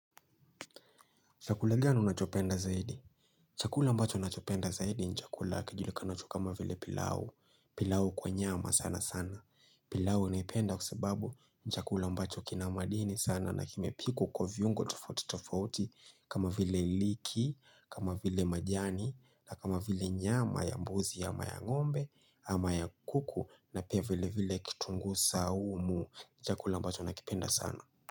Chakula gani unachopenda zaidi? Chakula ambacho nachopenda zaidi ni chakula kijulikanacho kama vile pilau. Pilau kwa nyama sana sana. Pilau naipenda kwa sababu ni chakula ambacho kina madini sana na kimepikwa kwa viungo tofauti tofauti kama vile iliki, kama vile majani, na kama vile nyama ya mbuzi ama ya ngombe, ama ya kuku na pia vile vile kitungu saumu. Chakula ambacho nakipenda sana.